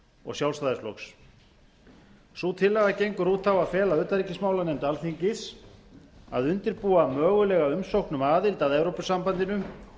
og sjálfstæðisflokks sú tillaga gengur út á að fela utanríkismálanefnd alþingis að undirbúa mögulega umsókn um aðild að evrópusambandinu